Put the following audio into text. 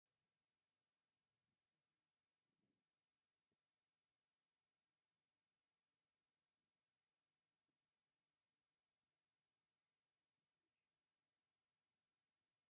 ዝኮነት እንስሳ ን ላዕሊ ትርኢ ኣላ ። ንይታ እንስሳ ሕብሪ ድማ ሓመደታይ ሕብሪ እንትኮን ሹም ንይቲ እንስሳ እንታይ ይብሃል ?